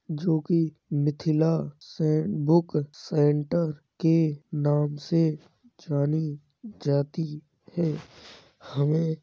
जो की मिथिला से बुक सेंटर के नाम से जानी जाती है। हमें --